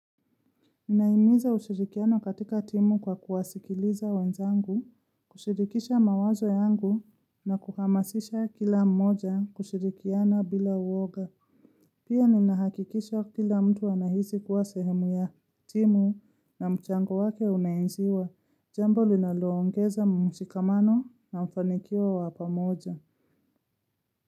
Ninaimiza ushirikiano katika timu kwa kuwasikiliza wenzangu, kushirikisha mawazo yangu na kuhamasisha kila mmoja kushirikiana bila uoga. Pia ninahakikisha kila mtu anahisi kuwa sehemu ya timu na mchango wake unaenziwa. Jambo linaloongeza mshikamano na mfanikio wa pamoja.